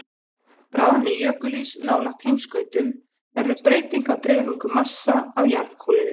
Bráðni jökulís nálægt heimskautum verður breyting á dreifingu massa á jarðkúlunni.